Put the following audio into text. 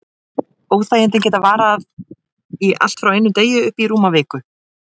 Óþægindin geta varað í allt frá einum degi og upp í rúma viku.